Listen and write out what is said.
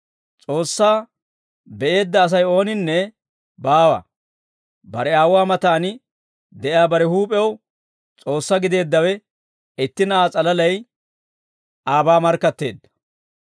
S'oossaa be'eedda Asay ooninne baawa; bare Aawuwaa matan de'iyaa bare huup'ew S'oossaa gideeddawe itti Na'aa s'alalay aabaa markkatteedda.